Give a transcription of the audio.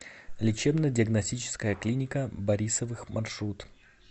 лечебно диагностическая клиника борисовых маршрут